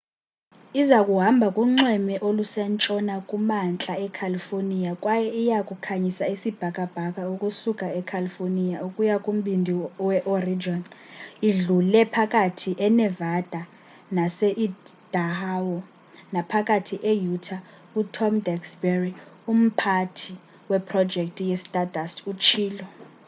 iza kuhamba kunxweme olusentshona kumantla ecalifornia kwaye iya kukhanyisa isibhakabhaka ukusuka ecalifornia ukuya kumbindi weoregon idlule phakathi enevada naseidaho naphakathi e-utah utom duxbury umphathi weprojekthi kastardust utshilo